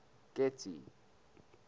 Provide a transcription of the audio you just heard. getty